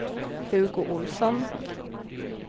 Hugo Olsson